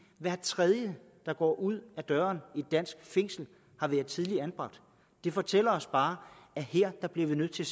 at hver tredje der går ud af døren i et dansk fængsel er tidligere anbragt det fortæller os bare at her bliver vi nødt til